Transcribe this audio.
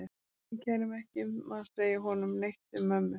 Ég kæri mig ekki um að segja honum neitt um mömmu.